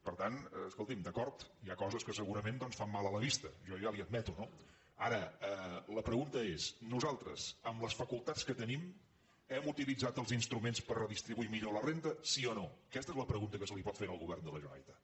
per tant escolti’m d’acord hi ha coses que segurament doncs fan mal a la vista jo ja li ho admeto no ara la pregunta és nosaltres amb les facultats que tenim hem utilitzat els instruments per redistribuir millor la renda sí o no aquesta és la pregunta que se li pot fer al govern de la generalitat